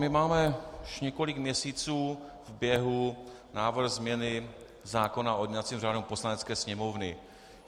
My máme už několik měsíců v běhu návrh změny zákona o jednacím řádu Poslanecké sněmovny.